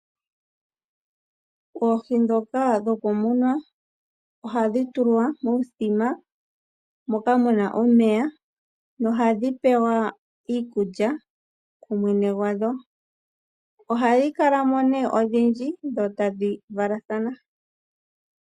Oohi ndhoka dhokumunwa, ohadhi tulwa muuthima moka muna omeya, nohadhi pewa iikulya kumwene gwadho. Ohadhi kala mo nee odhindji dho tadhi valathana.